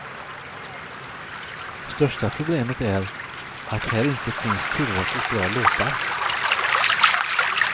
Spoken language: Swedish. Största problemet är att här inte finns tillräckligt bra låtar.